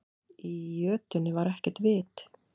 Í jötunni var ekkert vit.